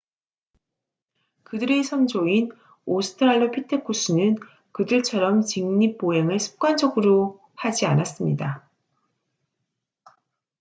그들의 선조인 오스트랄로 피테쿠스는 그들처럼 직립보행을 습관적으로 하지 않았습니다